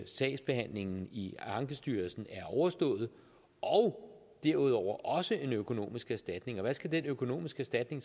sagsbehandlingen i ankestyrelsen er overstået og derudover også en økonomisk erstatning og hvad skal den økonomiske erstatning